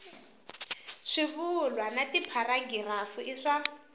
swivulwa na tipharagirafu i swa